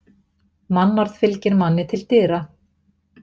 Mannorð fylgir manni til dyra.